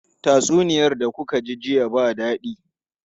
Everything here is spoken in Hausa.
Tatsuniyar da muka ji jiya ba dadi.